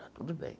Tudo bem.